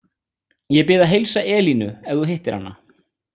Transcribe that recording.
Ég bið að heilsa Elínu ef þú hittir hana.